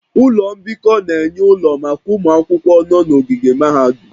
Ụlọ mbikọ na-enye ụlọ maka ụmụ akwụkwọ nọ n'ogige mahadum